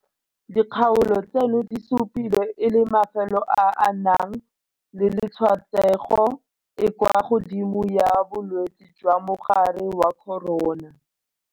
Dikgaolo tseno di supilwe e le mafelo a a nang le tshwaetsego e e kwa godimo ya bolwetse jwa mogare wa corona.